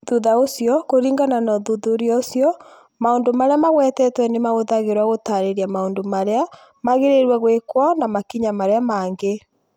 Thutha ũcio, kũringana na ũthuthuria ũcio, maũndũ marĩa magwetetwo nĩ mahũthagĩrũo gũtaarĩria maũndũ marĩa magĩrĩire gwĩkwo na makinya marĩa mangĩ.